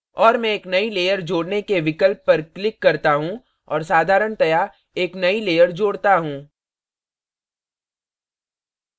और मैं एक नई layer जोड़ने के विकल्प पर click करता हूँ और साधारणतया एक नई layer जोड़ता हूँ